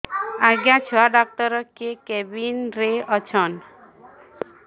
ଆଜ୍ଞା ଛୁଆ ଡାକ୍ତର କେ କେବିନ୍ ରେ ଅଛନ୍